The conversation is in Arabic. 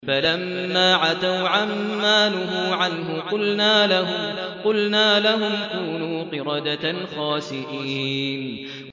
فَلَمَّا عَتَوْا عَن مَّا نُهُوا عَنْهُ قُلْنَا لَهُمْ كُونُوا قِرَدَةً خَاسِئِينَ